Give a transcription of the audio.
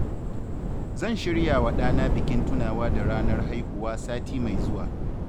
Zan shiryawa ɗana bikin tunawa da ranar haihuwa sati mai zuwa.